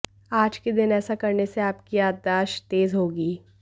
आज के दिन ऐसा करने से आपकी याददाश्त तेज होगी